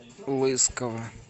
лысково